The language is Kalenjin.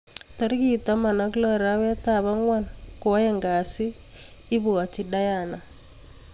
Tarikit taman ak loo arawet ap angwan kwaeng kasiit ..ibwatii diana